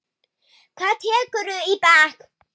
Hvað tekurðu í bekk?